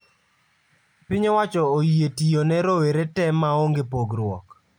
Piny owacho oyie tiyo ne rowere tee ma onge pogruok